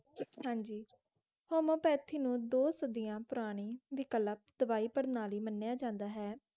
ਹਾਂਜੀ homeopathy ਨੂੰ ਦੋ ਸਦੀਆਂ ਪੁਰਾਣੀ ਦਵਾਈ ਪ੍ਰਣਾਲੀ ਮੰਨਿਆਂ ਜਾਂਦਾ ਹੈ